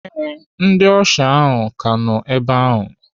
Ee, ndị ọsha ahụ ka nọ ebe ahụ.